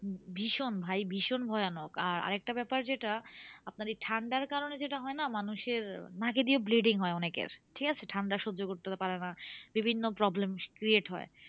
ভীষণ ভাই ভীষণ ভয়ানক। আর আরেকটা ব্যাপার যেটা, আপনার এই ঠান্ডার কারণে যেটা হয় না? মানুষের নাকে দিয়ে bleeding হয় অনেকের। ঠিকাছে? ঠান্ডা সহ্য করতে তো পারে না, বিভিন্ন problems create হয়।